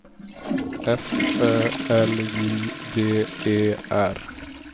F Ö L J D E R